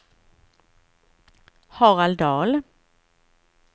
Harald Dahl